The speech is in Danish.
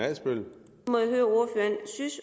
adsbøl